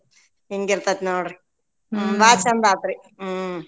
ಹಿಂಗಿರ್ತೆತ ನೋಡ್ರಿ ಬಾಳ ಛಂದ ಆತ್ರಿ ಹ್ಮ್.